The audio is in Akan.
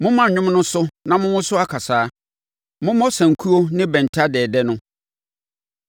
Momma nnwom no so na monwoso akasaeɛ. Mommɔ sankuo ne bɛnta dɛɛdɛ no.